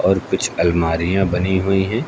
और कुछ अलमारियां बनी हुई हैं।